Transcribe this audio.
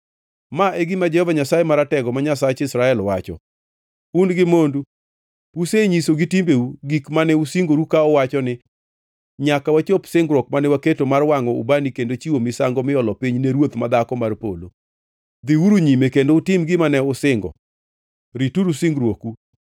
Ma e gima Jehova Nyasaye Maratego, ma Nyasach Israel, wacho: Un gi mondu usenyiso gi timbeu gik mane usingoru ka uwacho ni, ‘Nyaka wachop singruok mane waketo mar wangʼo ubani kendo chiwo misango miolo piny ne Ruoth ma Dhako mar Polo.’ “Dhiuru nyime, kendo utim gima ne usingo! Rituru singruoku!